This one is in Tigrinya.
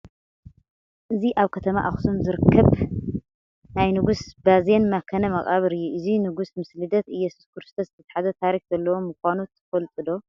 እዚ ኣብ ከተማ ኣኽሱም ዝርከብ ናይ ንጉስ ባዜን መካነ መቓብር እዩ፡፡ እዚ ንጉስ ምስ ልደት ኢየሱስ ክርስቶስ ዝተተሓሓዘ ታሪክ ዘለዎ ምዃኑ ትፈልጡ ዶ?